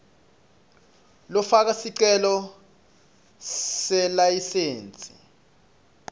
lofaka sicelo selayisensi